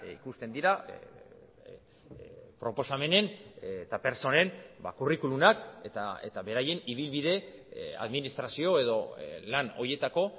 ikusten dira proposamenen eta pertsonen kurrikulumak eta beraien ibilbide administrazio edo lan horietako